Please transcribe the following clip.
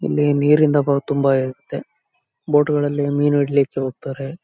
ಇಲ್ಲಿ ನೀರಿಂದ ಬರೋದು ತುಂಬ ಇರತ್ತೆ. ಬೋಟುಗಳಲ್ಲಿ ಮೀನು ಹಿಡಿಲಿಕ್ಕೆ ಹೋಗ್ತಾರೆ .